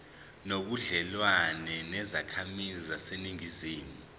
nobudlelwane nezakhamizi zaseningizimu